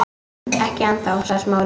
Ekki ennþá- sagði Smári.